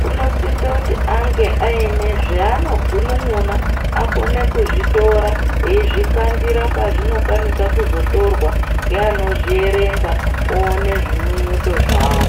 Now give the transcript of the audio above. kunosisoti ange aine zvanogunun'una pakuone kuzvitora eizvikandira pazvinokwanisa kuzotorwa, ngeanozvierenga oone zvinyinyito zvavo.